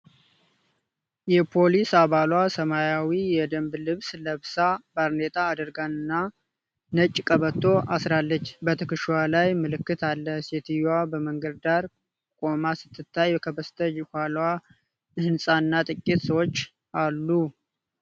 የፖሊስ አባሏ ሰማያዊ የደንብ ልብስ ለብሳ ፣ ባርኔጣ አድርጋ እና ነጭ ቀበቶ አስራለች ። በትከሻዋ ላይ ምልክት አለ ። ሴትየዋ በመንገድ ዳር ቆማ ስትታይ ከበስተ ኋላዋ ሕንፃ እና ጥቂት ሰዎች አሉ።